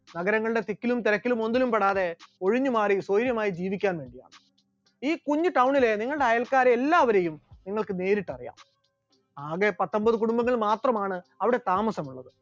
നഗരങ്ങളുടെ തിക്കിലും തിരക്കിലും ഒന്നിലും പെടാതെ ഒഴിഞ്ഞുമാറി സ്വൈര്യമായി ജീവിക്കുക എന്നുള്ളതാണ്, ഈ കുഞ്ഞു town ലെ നിങ്ങളുടെ അയൽക്കാരെ എല്ലാവരെയും നിങ്ങൾക്ക് നേരിട്ടറിയാം, ആകെ പത്തമ്പത് കുടുംബങ്ങൾ മാത്രമാണ് അവിടെ താമസമുള്ളത്.